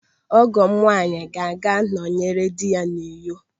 Ọgọ m nwaanyị ga-aga ịnọnyere dị ya n'Uyo.